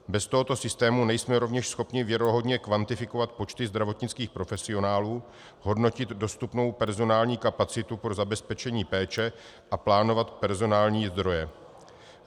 Bez tohoto systému nejsme rovněž schopni věrohodně kvantifikovat počty zdravotnických profesionálů, hodnotit dostupnou personální kapacitu pro zabezpečení péče a plánovat personální zdroje.